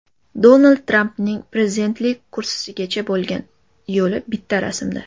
Donald Trampning prezidentlik kursisigacha bo‘lgan yo‘li bitta rasmda.